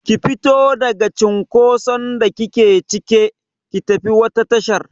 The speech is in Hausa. Ki fito daga cinkoson da kike cike, ki tafi wata tashar!